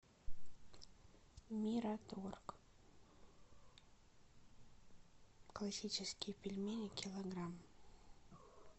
мираторг классические пельмени килограмм